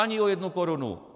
Ani o jednu korunu!